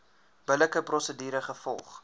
billike prosedure gevolg